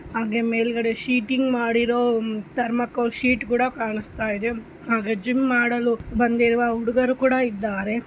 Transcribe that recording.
ಹಾಗೆ ಮೇಲ್ಗಡೆ ಶೀಟಿಂಗ್ ಮಾಡಿರೋ ತರ್ಮಾಕೋಲ್ ಶೀಟ್ ಕೂಡ ಕಾಣಸ್ತಾಯಿದೆ ಹಾಗೆ ಜಿಮ್ ಮಾಡಲು ಬಂದಿರುವ ಹುಡುಗರು ಕೂಡ ಇದ್ದಾರೆ.